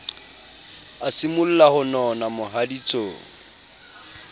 a simolla ho nona mohaditsong